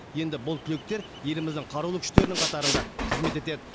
енді бұл түлектер еліміздің қарулы күштерінің қатарында қызмет етеді